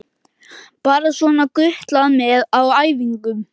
Bara svona gutlað með á æfingum.